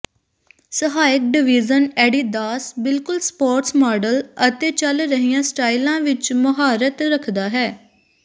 ਸਹਾਇਕ division Adidas ਬਿਲਕੁਲ sports model ਅਤੇ ਚਲ ਰਹੀਆਂ ਸਟਾਈਲਾਂ ਵਿੱਚ ਮੁਹਾਰਤ ਰੱਖਦਾ ਹੈ